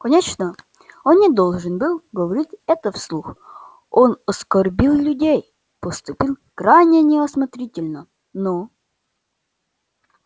конечно он не должен был говорить это вслух он оскорбил людей поступил крайне неосмотрительно ну